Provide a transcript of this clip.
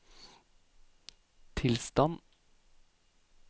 tilstand